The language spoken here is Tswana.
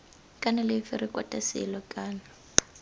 kana lefe rekota selo kana